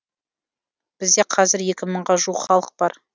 бізде қазір екі мыңға жуық халық бар